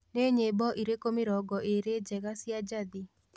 ni nyĩmbo ĩrĩkũ mĩrongo ĩrĩ njega cĩa jathii